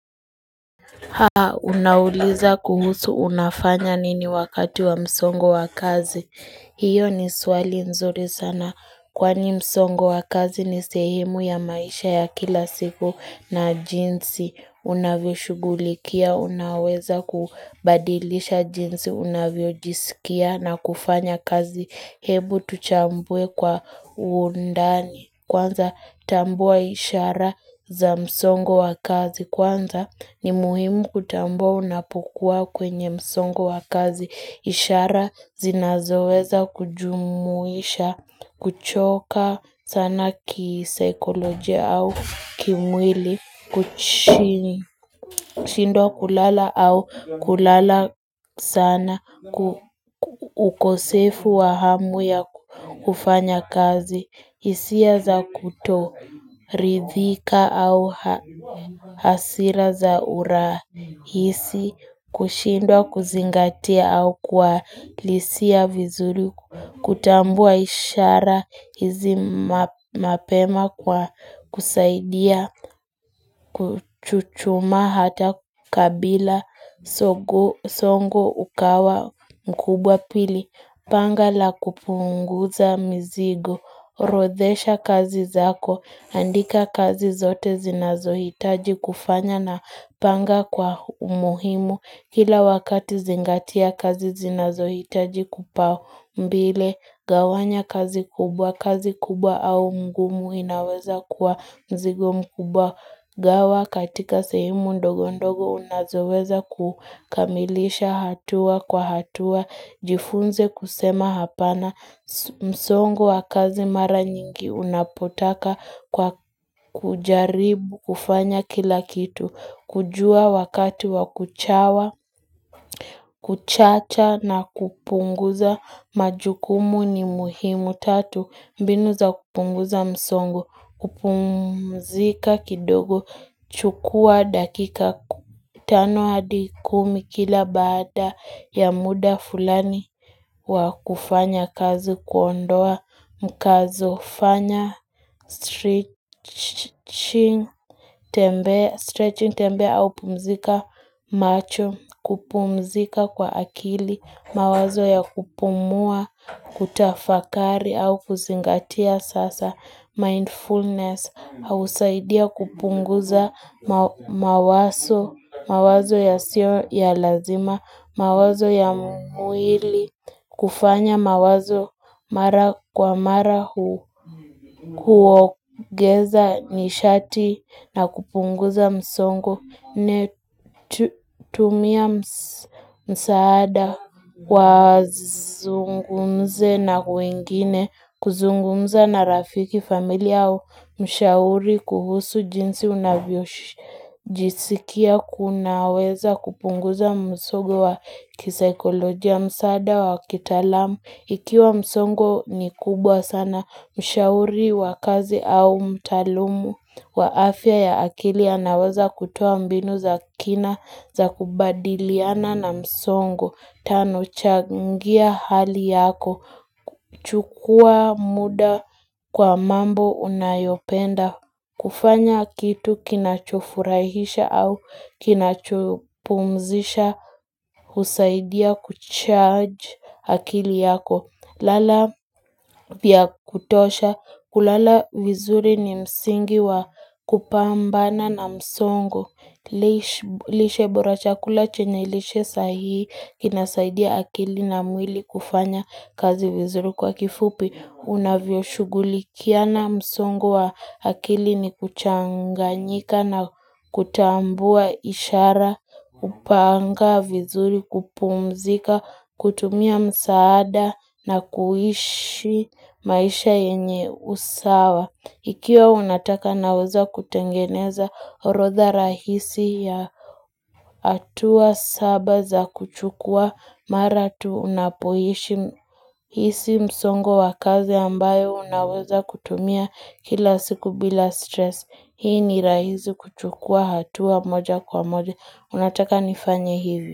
Haa unauliza kuhusu unafanya nini wakati wa msongo wa kazi hiyo ni swali nzuri sana Kwani msongo wa kazi ni sehumu ya maisha ya kila siku na jinsi Unavyoshugulikia unaweza kubadilisha jinsi unavyojisikia na kufanya kazi. Hebu tuchambue kwa uundani. Kwanza tambua ishara za msongo wa kazi. Kwanza ni muhimu kutambua unapokua kwenye msongo wa kazi ishara zinazoweza kujumuisha kuchoka sana kisaikolojia au kimwili Kuchini, shindo kulala au kulala sana ukosefu wa hamu ya kufanya kazi hisia za kutoridhika au hasira za uraa isi kushindwa kuzingatia au kwa lisia vizuri kutambua ishara hizi map mapema kwa kusaidia Kuchuchuma hata kabila sogoo songo ukawa mkubwa pili Panga la kupunguza mizigo orodhesha kazi zako, andika kazi zote zinazohitaji kufanya na panga kwa umuhimu kila wakati zingatia kazi zinazohitaji kupao mbile gawanya kazi kubwa kazi kubwa au mgumu inaweza kwa mzigo mkubwa gawa katika sehumu ndogo ndogo unazoweza kukamilisha hatua kwa hatua jifunze kusema hapana msongo wa kazi mara nyingi unapotaka kwa kujaribu, kufanya kila kitu kujua wakati wa kuchawa, kuchacha na kupunguza majukumu ni muhimu tatu mbinu za kupunguza msongu, kupumzika kidogo, chukua dakika ku tano hadi kumi kila baada ya muda fulani wa kufanya kazi kuondoa mkazo, fanya str stretching tembe au pumzika macho, kupumzika kwa akili, mawazo ya kupumua, kutafakari au kusingatia sasa, mindfulness, Hausaidia kupunguza mawa mawa mawazo ya sio ya lazima, mawazo ya mwili, kufanya mawazo mara kwa mara hu huogeza nishati na kupunguza msongo. Ne tumia msaada kwa zungumze na kuingine kuzungumza na rafiki familia au mshauri kuhusu jinsi unavyo jisikia kunaweza kupunguza msogo wa kisaikolojia msaada wa kitalamu Ikiwa msongo ni kubwa sana mshauri wa kazi au mtaalumu wa afya ya akili anawaza kutoa mbinu za kina za kubadiliana na msongo, tano changia hali yako, chukua muda kwa mambo unayopenda, kufanya kitu kinachofurahisha au kinachopumzisha, husaidia kucharge akili yako. Lala vya kutosha, kulala vizuri ni msingi wa kupambana na msongo, lish lishe bora chakula chenye lishe sahii, inasaidia akili na mwili kufanya kazi vizuri kwa kifupi. Unavyoshugulikiana msongo wa akili ni kuchanganyika na kutambua ishara, upanga, vizuri, kupumzika, kutumia msaada na kuishi maisha yenye usawa. Ikiwa unataka naweza kutengeneza orodha rahisi ya hatua saba za kuchukua mara tu unapoishi hisi msongo wakazi ambayo unaweza kutumia kila siku bila stress. Hii ni rahizi kuchukua hatua moja kwa moja. Unataka nifanye hivi.